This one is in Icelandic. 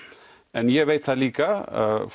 en ég veit það líka